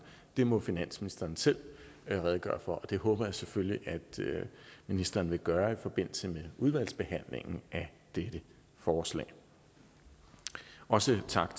dem må finansministeren selv redegøre for og det håber jeg selvfølgelig at ministeren vil gøre i forbindelse med udvalgsbehandlingen af dette forslag også tak